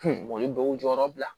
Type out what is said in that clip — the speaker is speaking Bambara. u ye baw jɔyɔrɔ bila